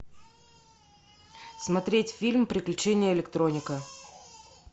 смотреть фильм приключения электроника